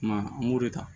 Kuma an b'o de ta